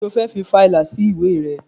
Kí ni o fẹ́ fi fa ìlà sí ìwé rẹ?